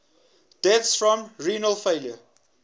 deaths from renal failure